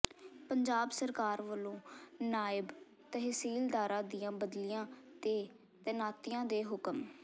ਪੰਜਾਬ ਸਰਕਾਰ ਵੱਲੋਂ ਨਾਇਬ ਤਹਿਸੀਲਦਾਰਾਂ ਦੀਆਂ ਬਦਲੀਆਂ ਤੇ ਤੈਨਾਤੀਆਂ ਦੇ ਹੁਕਮ